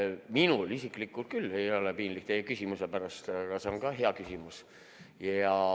Minul isiklikult küll ei ole piinlik teie küsimuse pärast, see on hea küsimus.